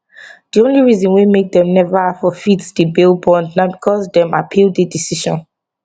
di only reason wey make dem neva forfeit di bail bond na becos dem appeal di decision